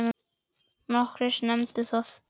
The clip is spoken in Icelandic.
Nokkrir nefndu það.